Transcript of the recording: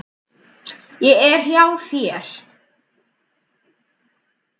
Ég er hjá þér.